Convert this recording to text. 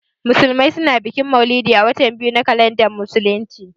Musulmai su na bikin mauludi a watan biyu na kalandar musulunci